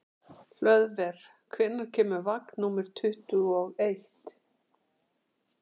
Hlöðver, hvenær kemur vagn númer tuttugu og eitt?